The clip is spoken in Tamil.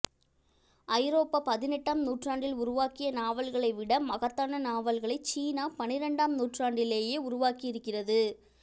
ஐரோப்பா பதினெட்டாம் நூற்றாண்டில் உருவாக்கிய நாவல்களை விட மகத்தான நாவல்களை சீனா பன்னிரண்டாம் நூற்றாண்டிலேயே உருவாக்கியிருக்கிறது